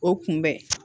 O kunbɛn